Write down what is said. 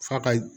F'a ka